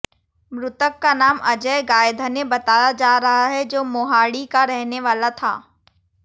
मृतक का नाम अजय गायधने बताया जा रहा है जो मोहाड़ी का रहने वाला था